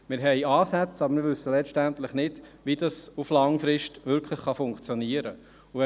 Wir haben Ansätze, aber wir wissen letztendlich nicht, wie das langfristig wirklich funktionieren kann.